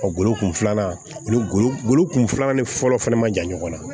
Ɔ golo kun filanan ani golo golo kun filanan ni fɔlɔ fɛnɛ ma jan ɲɔgɔn na